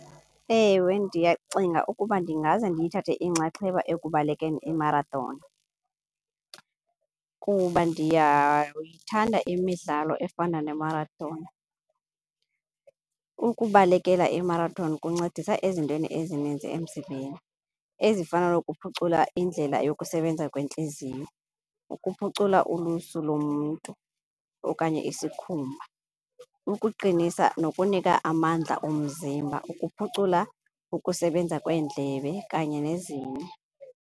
Ewe, ndiyacinga ukuba ndingaze ndiyithathe inxaxheba ekubalekeni i-marathon kuba ndiyayithanda imidlalo efana ne-marathon. Ukubalekela i-marathon kuncedisa ezintweni ezininzi emzimbeni ezifana nokuphucula indlela yokusebenza kwentliziyo, ukuphucula ulusu lomntu okanye isikhumba, ukuqinisa nokunika amandla umzimba, ukuphucula ukusebenza kweendlebe kanye nezinye.